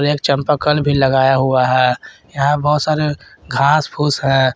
एक एक चंपाकल भी लगाया गया है यहां बहुत सारे घास फूंस हैं।